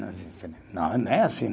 Não, não é assim.